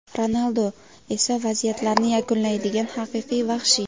Ronaldu esa vaziyatlarni yakunlaydigan haqiqiy vahshiy.